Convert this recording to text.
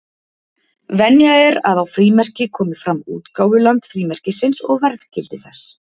Venja er að á frímerki komi fram útgáfuland frímerkisins og verðgildi þess.